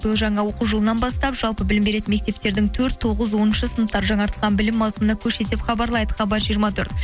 биыл жаңа оқу жылынан бастап жалпы білім беретін мектептердің төрт тоғыз оныншы сыныптар жаңартылған білім мауысымынан көшеді деп хабарлайды хабар жиырма төрт